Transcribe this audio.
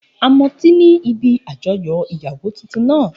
A mọtí ní ibi àjọyọ̀ ìyàwó tuntun náà